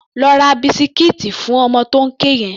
Lọ ra bisikíìtì fún ọmọ tó ń ké yẹn!